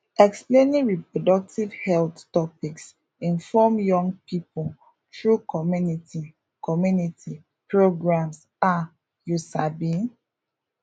explaining reproductive health topics informs young pipo through community community programs um you sabi